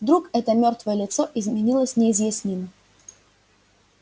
вдруг это мёртвое лицо изменилось неизъяснимо